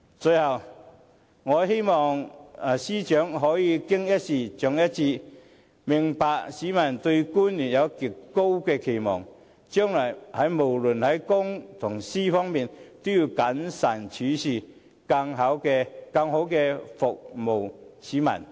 最後，我由衷希望司長可以"經一事，長一智"，明白市民對官員有極高期望，將來無論在公在私，都要更謹慎處事，更好地服務市民。